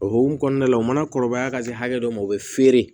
O hukumu kɔnɔna la u mana kɔlɔlɔ ka se hakɛ dɔ ma u bɛ feere